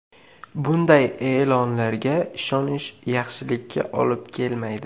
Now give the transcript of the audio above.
Bunday e’lonlarga ishonish yaxshilikka olib kelmaydi.